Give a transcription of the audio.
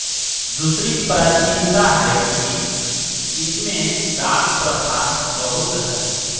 दूसरी प्राचीनता है कि इसमें दास प्रथा बहुत है